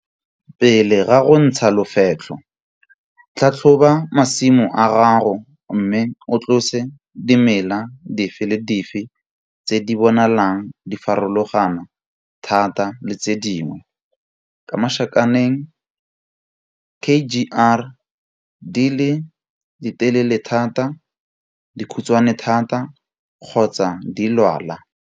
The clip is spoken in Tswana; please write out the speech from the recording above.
Pele ga go ntsha lofetlho, tlhatlhoba masimo a gago mme o tlose dimela dife le dife tse di bonalang di farologana thata le tse dingwe k.g.r di le ditelele thata, dikhutshwane thata kgotsa di lwala.